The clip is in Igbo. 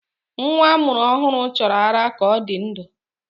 Nwa a mụrụ ọhụrụ chọrọ ara ka ọ dị ndụ